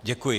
Děkuji.